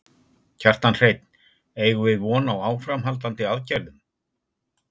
Kjartan Hreinn: Eigum við von á áframhaldandi aðgerðum?